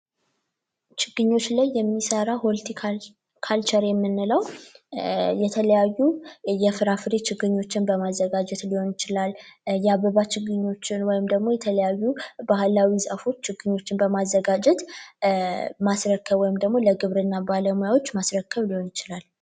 ችግኞች ላይ የሚሰራ ሆልቲ ካልቸር የምንለው እየተለያዩ የፍራፍሬ ችግኞችን በማዘጋጀት ሊሆን ይችላል፤ የአበባ ችግኞችን ወይም ደግሞ የተለያዩ ባህላዊ ዛፎች ችግኞችን በማዘጋጀት ማስረከብ ወይም ደግሞ ለግብርና ባለሙያዎች ማስረከብ ሊሆን ይችላል።